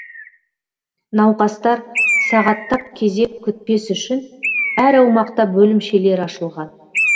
науқастар сағаттап кезек күтпес үшін әр аумақта бөлімшелері ашылған